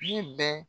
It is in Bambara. Ne bɛ